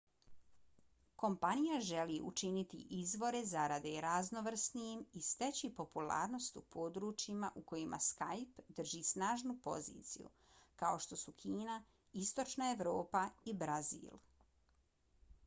kompanija želi učiniti izvore zarade raznovrsnijim i steći popularnost u područjima u kojima skype drži snažnu poziciju kao što su kina istočna evropa i brazil